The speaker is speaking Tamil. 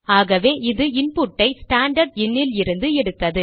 ஆகவே அது இன்புட்டை ஸ்டாண்டர்ட் இன் லிருந்து எடுத்தது